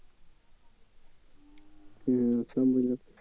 হম সব বুঝলাম